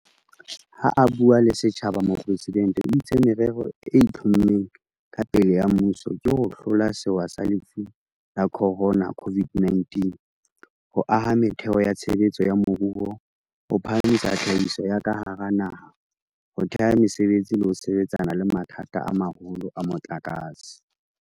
Ha a bua le setjhaba, Mopresidente o itse merero e itlhommeng ka pele ya mmuso ke ho hlola sewa sa Lefu la Khorona, COVID-19, ho aha metheo ya tshebetso ya moruo, ho phahamisa tlhahiso ya ka hara naha, ho thea mesebetsi le ho sebetsana le mathata a maholo a motlakase.